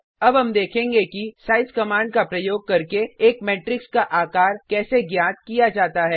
अब हम देखेंगे कि साइज कमांड का प्रयोग करके एक मेट्रिक्स का आकार कैसे ज्ञात किया जाता है